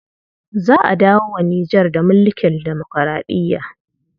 Za a dawo wa Nijar da mulkin demokuraɗiya.